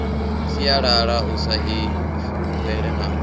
sialala u sa ifulufhela na